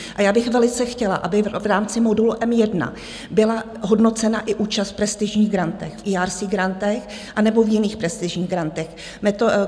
A já bych velice chtěla, aby v rámci modulu M1 byla hodnocena i účast v prestižních grantech, v ERC grantech anebo v jiných prestižních grantech.